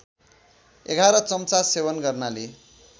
११ चम्चा सेवन गर्नाले